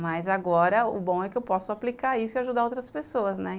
Mas agora, o bom é que eu posso aplicar isso e ajudar outras pessoas, né?